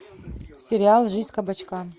сериал жизнь кабачка